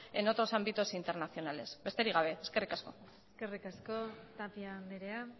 en otros ámbitos internacionales besterik gabe eskerrik asko eskerrik asko tapia andrea